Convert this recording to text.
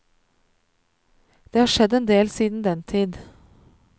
Det har skjedd en del siden den tid.